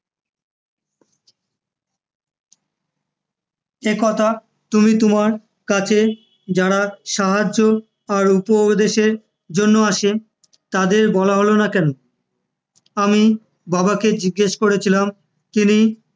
এ কথা তুমি তোমার কাছে যারা সাহায্য আর উপদেশের জন্য আসে, তাদের বলোনা কেন? আমি বাবাকে জিজ্ঞেস করেছিলাম, তিনি আমার